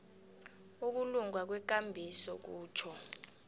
ukulunga kwekambiso kutjho